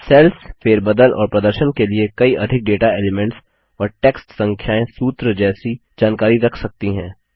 sales फेरबदल और प्रदर्शन के लिए कई अधिक डेटा एलिमेंट्स और टेक्स्ट संख्याएँ सूत्र जैसी जानकारी रख सकती हैं